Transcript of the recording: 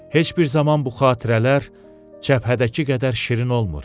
Heç bir zaman bu xatirələr cəbhədəki qədər şirin olmur.